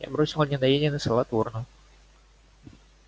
я бросил недоеденный салат в урну